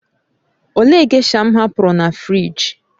Olee gésha m hapụrụ na fịrij?